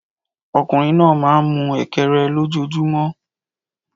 Ọkùnrin náà máa ń mú Ekere lójoojúmọ́